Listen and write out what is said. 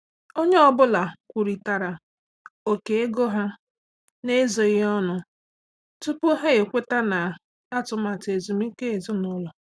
Onye ọ bụla kwurịtara ókè ego ha n’ezoghị ọnụ tupu ha ekweta na atụmatụ ezumike ezinụlọ.